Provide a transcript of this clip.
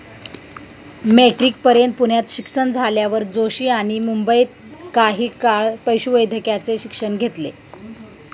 मेट्रिकपर्यंत पुण्यात शिक्षण झाल्यावर जोशी यांनी मुंबईत काही काळ पशुवैद्यकाचे शिक्षण घेतले.